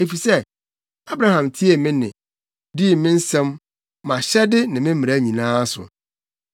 Efisɛ Abraham tiee me nne, dii me nsɛm, mʼahyɛde ne me mmara nyinaa so.”